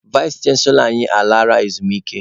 Vais chanselọ anyị a laala ezumike nka.